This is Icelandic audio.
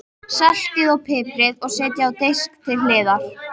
Saltið og piprið og setjið á disk til hliðar.